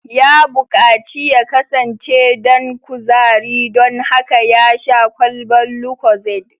Ya bukaci ya kasance dan kuzari don haka ya sha kwalban Lucozade